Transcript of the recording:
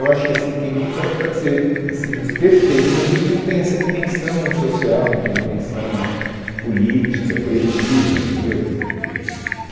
Eu acho que assim, quem, po, o cara pode ser assim perfeito, mas ele não tem essa dimensão social, não tem a dimensão política, coletiva, entendeu, que